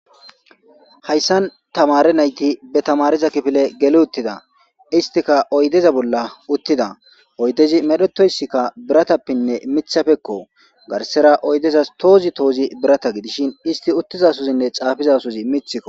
Hayssan tamare nayti be tamariza kifile geli uttida istika oydeza bolla uttida oydezi medhetoyssikka biratappinne mithafekko garsera oydezas toozi toozi birata gidishin isti uttiza suzinne caafizasozi mithikko.